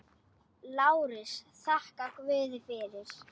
LÁRUS: Þakkið guði fyrir.